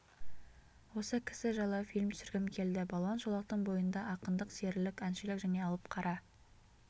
осы кісі жайлы фильм түсіргім келді балуан шолақтың бойында ақындық серілік әншілік және алып қара